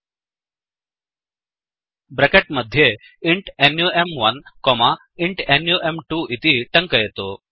bracket मध्ये int नुं1 comma int नुं2 इति टङ्कयतु